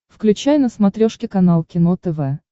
включай на смотрешке канал кино тв